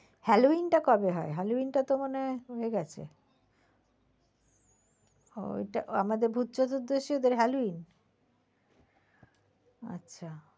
Halloween টা কবে হয় halloween টা মনে হয় হয়ে গেছে, ওইটা আমাদের ভুত চতুর্দশী ওদের halloween?